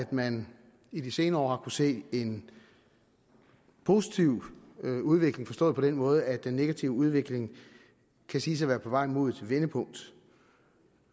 man i de senere år se en positiv udvikling forstået på den måde at den negative udvikling kan siges at være på vej mod et vendepunkt